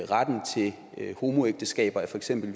retten til homoægteskaber er for eksempel